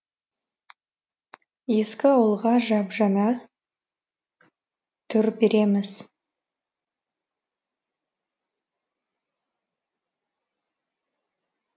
ескі ауылға жап жаңа түр береміз